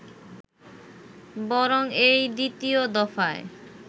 বরং এই দ্বিতীয় দফায়